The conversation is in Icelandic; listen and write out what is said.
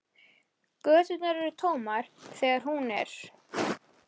Göturnar eru tómar þegar hún er.